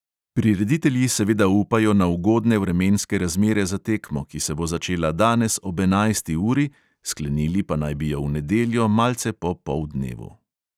Prireditelji seveda upajo na ugodne vremenske razmere za tekmo, ki se bo začela danes ob enajsti uri, sklenili pa naj bi jo v nedeljo malce po poldnevu.